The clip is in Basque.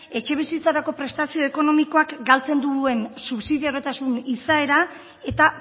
etxebizitzarako prestazio ekonomikoak galtzen duen subsidio izaera eta